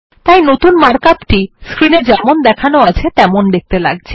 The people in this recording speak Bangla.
তাই নতুন মার্ক আপ স্ক্রিন এ যেমন দেখানো আছে তেমন দেখতে লাগছে